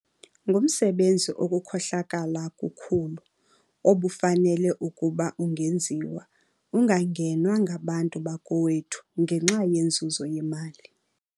Ngumsebenzi okukhohlakala kukhulu, obufanele ukuba ungenziwa, ungangenwa, ngabantu bakowethu ngenxa yenzuzo yemali.